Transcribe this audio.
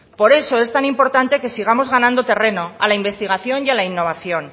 por eso es tan importante que sigamos ganando terreno a la investigación y a la innovación